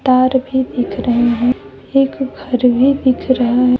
और भी दिख रहे हैं एक घर भी दिख रहा है।